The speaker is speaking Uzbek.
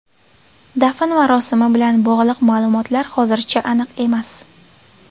Dafn marosimi bilan bog‘liq ma’lumotlar hozircha aniq emas.